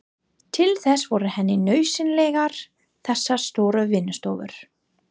Til þess voru henni nauðsynlegar þessar stóru vinnustofur.